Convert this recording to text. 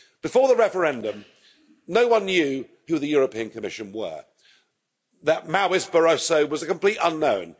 Before the referendum, no one knew who the European Commission were. That Maoist Barroso was a complete unknown.